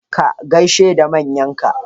Ka gaishe da manyan ka!